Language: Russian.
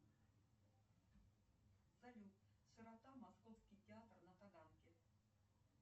салют какая валюта ходит на коста рике